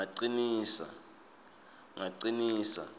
ngacinisa